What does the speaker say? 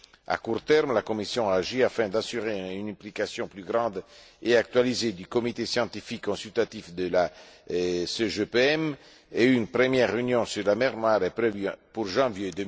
À court terme, la Commission a agi afin d'assurer une implication plus grande et actualisée du Comité scientifique consultatif de la CGPM, et une première réunion sur la mer Noire est prévue pour janvier